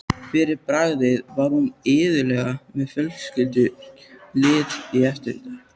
Fyrir bragðið var hún iðulega með fjölskrúðugt lið í eftirdragi.